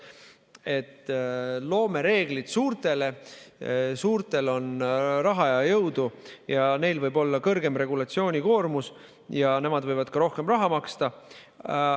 Me loome reegleid suurtele, suurtel on raha ja jõudu, neil võib olla suurem regulatsioonikoormus ja nemad võivad ka rohkem raha maksta.